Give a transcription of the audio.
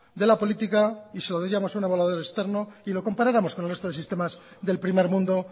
de la política y se lo diéramos a un evaluador externo y lo comparáramos con el resto de sistemas del primer mundo